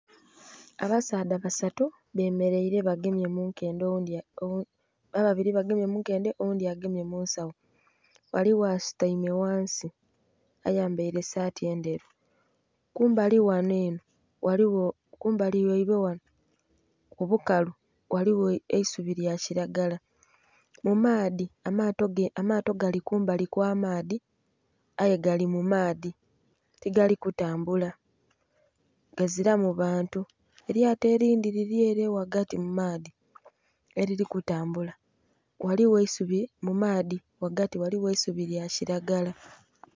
Abasaadha basatu bemereire bagemye mu nkedhe ababiri bagemye mu nkedhe oghundhi agema munsagho, ghaligho asutaime ghansi ayambaire esaati endheru kumbali ghanho enho ghaligho kumbali ghaibwe ghanho ghaligho ku bukalu, ghaligho eisubi lya kilagala mu maadhi amaato gali kumbali kwa maadhi aye gali mu maadhi tigali kutambula gazilamu bantu. Elyato elindhi lilyere ghagati mu maadhi erili kutambula, ghaligho eisubi mu maadhi ghagati ghaligho eisubi lya kilagala.